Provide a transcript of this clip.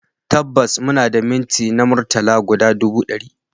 Tabbas muna da minti na murtala guda ɗubu ɗari